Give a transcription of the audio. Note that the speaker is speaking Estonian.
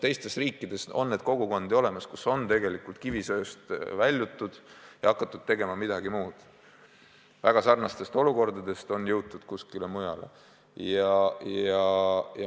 Teistes riikides on selliseid kogukondi olemas, kus on kivisöetööstusest väljutud ja hakatud tegema midagi muud, meie omaga väga sarnastest olukordadest on jõutud kuskile mujale.